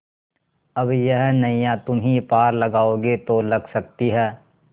अब यह नैया तुम्ही पार लगाओगे तो लग सकती है